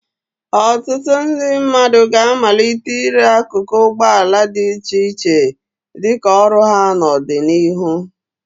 Ọtụtụ ndị mmadụ ga-amalite ire akụkụ ụgbọ ala dị iche iche dị ka ọrụ ha n'ọdịnihu.